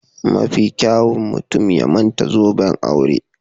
Mafi kyawun mutum ya manta zoben aure